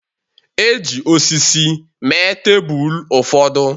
E ji osisi mee tebụl ụfọdụ